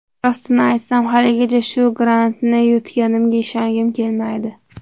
Rostini aytsam, haligacha, shu grantni yutganimga ishongim kelmaydi.